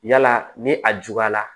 Yala ni a juguyara